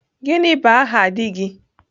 gini bu aha di gi?